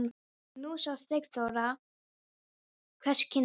Nú sá Sigþóra hvers kyns var.